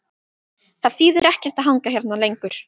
Það þýðir ekkert að hanga hérna lengur.